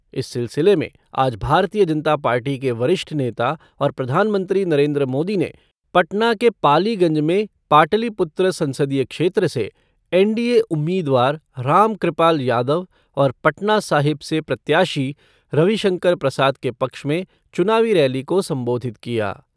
इस सिलसिले में आज भारतीय जनता पार्टी के वरिष्ठ नेता और प्रधानमंत्री नरेन्द्र मोदी ने पटना के पालीगंज में पाटलिपुत्र संसदीय क्षेत्र से एनडीए उम्मीदवार रामकृपाल यादव और पटना साहिब से प्रत्याशी रविशंकर प्रसाद के पक्ष में चुनावी रैली को संबोधित किया।